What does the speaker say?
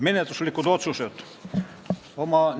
Menetluslikud otsused olid järgmised.